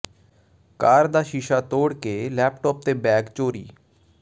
ਕਾਰ ਦਾ ਸ਼ੀਸ਼ਾ ਤੋੜ ਕੇ ਲੈਪਟਾਪ ਤੇ ਬੈਗ ਚੋਰੀ